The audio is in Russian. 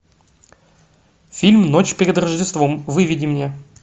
фильм ночь перед рождеством выведи мне